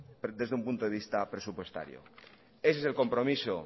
desde un punto de vista presupuestario ese es el compromiso